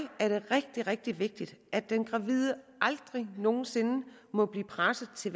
er det rigtig rigtig vigtigt at den gravide aldrig nogen sinde må blive presset til